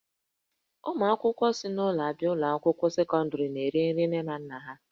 Ụmụ akwụkwọ si n'ụlọ abịa ụlọ akwụkwọ sekọndrị na-eri nri nne na nna ha